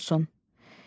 Bəs sürü nə olsun?